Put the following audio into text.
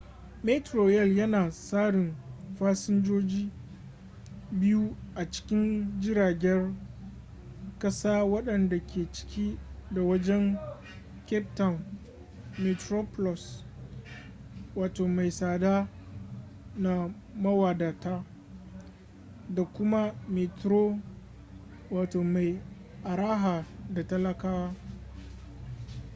metrorail yana tsarin fasinjoji biyu a cikin jiragen kasa wadanda ke ciki da wajen cape town: metroplus mai tsada na mawadata da kuma metro mai araha na talakawa